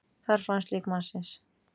Þar fannst lík mannsins